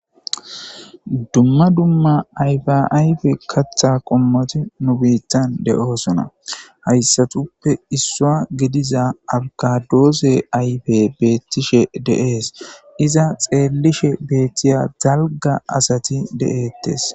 Dumma dumma ayfe ayfe katha qommoti nu biittan de7oosona hayssatuppe issua gidiza algadoose ayfe beettishe de7ees iza xeellishe beettiya dalga asati de'ettes.